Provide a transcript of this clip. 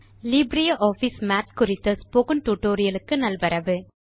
LibreOffice Math குறித்த spoken tutorial க்கு நல்வரவு